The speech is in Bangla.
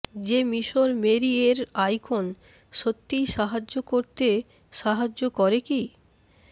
যে মিশর মেরি এর আইকন সত্যিই সাহায্য করতে সাহায্য করে কি